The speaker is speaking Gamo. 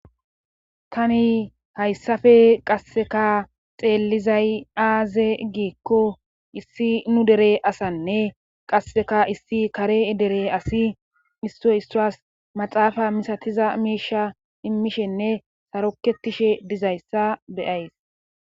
Tani haysssafe qasseka xeellizaty aaze giikko issi nu dere asannne qasseka issi kaare dere asi issoy issuwas maxaafa misatiza miisa immishenne sarokkettishe dizayssa be7ays.